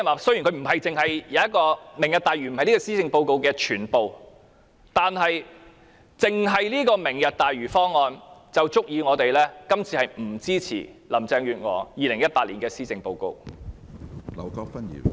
雖然"明日大嶼"並非施政報告的全部，但單單由於這項"明日大嶼"方案，便足以令我們不支持林鄭月娥2018年的施政報告。